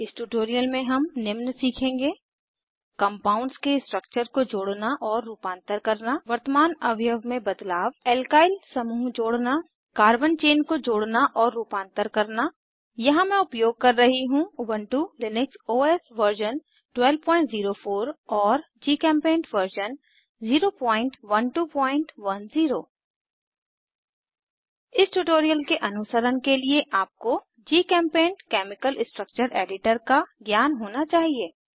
इस ट्यूटोरियल में हम निम्न सीखेंगे कंपाउंड्स के स्ट्रक्चर को जोड़ना और रूपांतर करना वर्तमान अवयव में बदलाव एल्काइल समूह जोड़ना कार्बन चेन को जोड़ना और रुपांतर करना यहाँ मैं उपयोग कर रही हूँ उबन्टु लिनक्स ओएस वर्जन 1204 और जीचेम्पेंट वर्जन 01210 इस ट्यूटोरियल के अनुसरण के लिए आपको जीचेम्पेंट केमिकल स्ट्रक्चर एडिटर का ज्ञान होना चाहिए